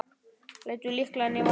Lætur lyklana í vasann.